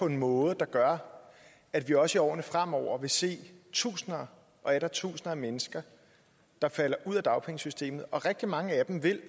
en måde der gør at vi også i årene fremover vil se tusinder og atter tusinder af mennesker der falder ud af dagpengesystemet og rigtig mange af dem vil